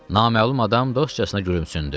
Naməlum adam dostcasına gülümsündü.